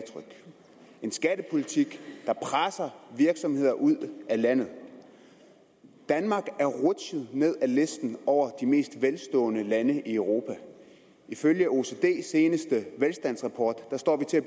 en skattepolitik der presser virksomheder ud af landet danmark er rutsjet ned ad listen over de mest velstående lande i europa ifølge oecds seneste velstandsrapport står vi til at